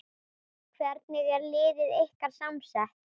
Hvernig er liðið ykkar samsett?